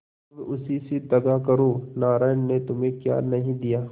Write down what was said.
अब उसी से दगा करो नारायण ने तुम्हें क्या नहीं दिया